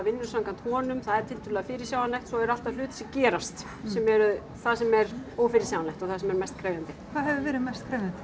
vinnum samkvæmt honum það er tiltölulega fyrirsjáanlegt svo eru alltaf hlutir sem gerast sem eru það sem er ófyrirsjáanlegt og það sem er mest krefjandi hvað hefur verið mest krefjandi